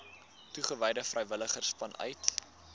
toegewyde vrywilligers vanuit